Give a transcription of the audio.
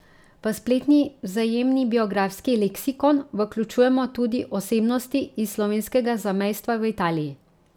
V spletni vzajemni biografski leksikon vključujemo tudi osebnosti iz slovenskega zamejstva v Italiji.